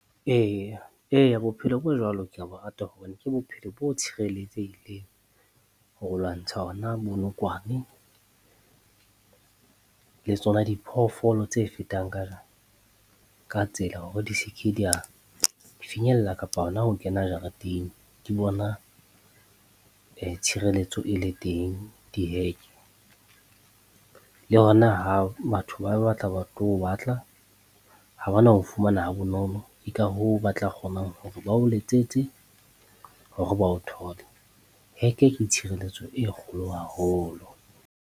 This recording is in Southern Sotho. Eya eya bophelo bo jwalo ke ya bo rata hobane ke bophelo bo tshireletsehileng, ho lwantsha ona bonokwane le tsona diphoofolo tse fetang ka, ka tsela hore di se ke di ya finyella kapa hona ho kena jareteng. Ke bona tshireletso e le teng diheke, le hona ha batho ba ba tla ba tlo o batla, ha ba na o fumana ha bonolo. Ke ka hoo ba tla kgonang hore ba o letsetse hore ba o thole. Heke ke tshireletso e kgolo haholo.